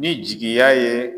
Ni jigiya ye